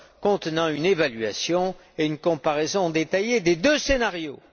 contenant une évaluation et une comparaison détaillées des deux scénarios.